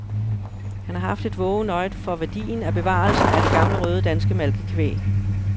Han har haft et vågent øje for værdien af bevarelsen af det gamle røde danske malkekvæg.